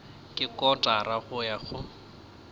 ke kotara go ya go